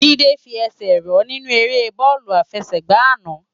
Jide fi èsè rò ninú èrè bòlú àfèsègbá àná